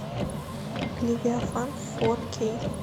левиафан фор кей